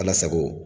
Ala sago